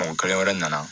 Mɔgɔ kelen wɛrɛ nana